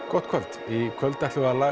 gott kvöld í kvöld ætlum við að